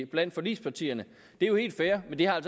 blandt forligspartierne det er jo helt fair men det har